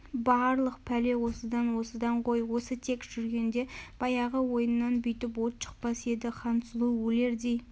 барлық пәле осыдан осыдан ғой осы тек жүргенде баяғы ойыннан бүйтіп от шықпас еді хансұлу өлердей